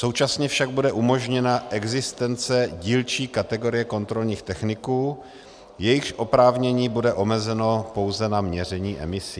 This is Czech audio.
Současně však bude umožněna existence dílčí kategorie kontrolních techniků, jejichž oprávnění bude omezeno pouze na měření emisí.